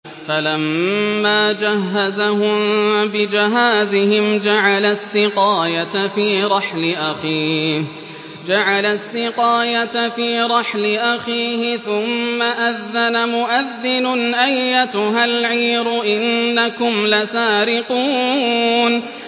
فَلَمَّا جَهَّزَهُم بِجَهَازِهِمْ جَعَلَ السِّقَايَةَ فِي رَحْلِ أَخِيهِ ثُمَّ أَذَّنَ مُؤَذِّنٌ أَيَّتُهَا الْعِيرُ إِنَّكُمْ لَسَارِقُونَ